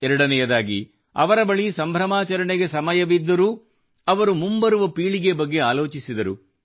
ಎರಡನೇಯದಾಗಿ ಅವರ ಬಳಿ ಸಂಭ್ರಮಾಚರಣೆಗೆ ಸಮಯವಿದ್ದರೂ ಅವರು ಮುಂಬರುವ ಪೀಳಿಗೆ ಬಗ್ಗೆ ಆಲೋಚಿಸಿದರು